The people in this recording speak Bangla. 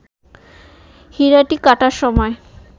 হীরাটি কাটার সময়